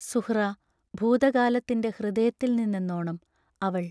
സുഹ്റാ ഭൂതകാലത്തിന്റെ ഹൃദയത്തിൽ നിന്നെന്നോണം അവൾ